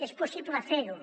és possible fer ho